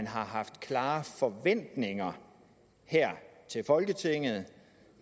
har haft klare forventninger til folketinget